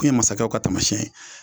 kun ye ye masakɛw ka tamasɛn ye